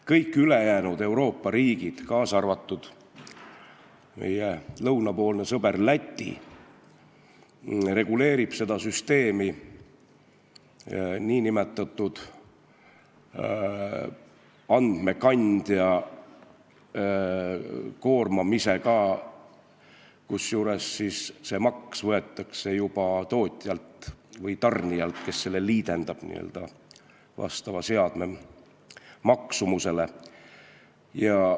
Kõik ülejäänud Euroopa riigid, kaasa arvatud meie lõunapoolne sõber Läti, reguleerivad seda süsteemi andmekandja koormamisega, kusjuures maksu võetakse juba tootjalt või tarnijalt, kes liidendab selle vastava seadme maksumuse järgi.